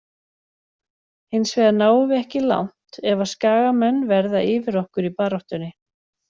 Hinsvegar náum við ekki langt ef að skagamenn verða yfir okkur í baráttunni.